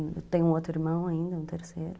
Eu tenho um outro irmão ainda, um terceiro.